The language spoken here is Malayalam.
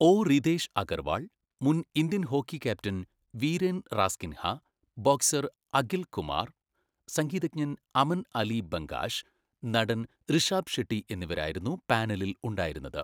ഒ. റിതേഷ് അഗർവാൾ, മുൻ Indian hockey captain Viren Rasquinha, boxer Akhil Kumar, സംഗീതജ്ഞൻ അമൻ അലി ബംഗാഷ്, നടൻ റിഷാബ് ഷെട്ടി എന്നിവരായിരുന്നു പാനലിൽ ഉണ്ടായിരുന്നത്.